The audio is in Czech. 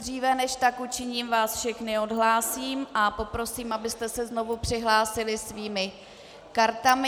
Dříve než tak učiním, vás všechny odhlásím a poprosím, abyste se znovu přihlásili svými kartami.